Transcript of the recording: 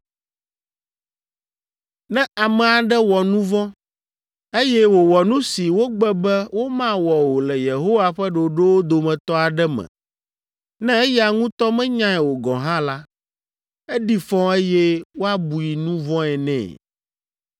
“Ne ame aɖe wɔ nu vɔ̃, eye wòwɔ nu si wogbe be womawɔ o le Yehowa ƒe ɖoɖowo dometɔ aɖe me, ne eya ŋutɔ menyae o gɔ̃ hã la, eɖi fɔ eye woabui nu vɔ̃e nɛ.